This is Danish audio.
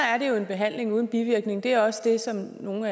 er det jo behandling uden bivirkninger og det er også det som nogle